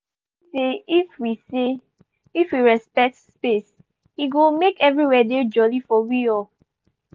i sabi say if we say if we respect space e go make everywhere dey jolly for we all